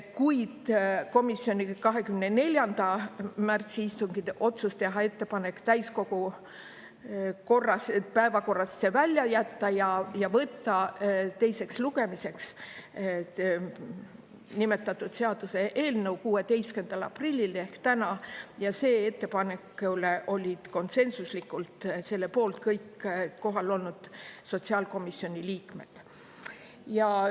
Kuid komisjoni 24. märtsi istungi otsus teha ettepanek täiskogu päevakorrast see välja jätta ja võtta teiseks lugemiseks nimetatud seaduseelnõu 16. aprillil ehk täna ja selle ettepaneku poolt olid konsensuslikult kõik kohal olnud sotsiaalkomisjoni liikmed.